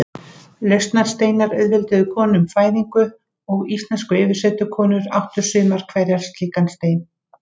Lausnarsteinar auðvelduðu konum fæðingu og íslenskar yfirsetukonur áttu sumar hverjar slíkan stein.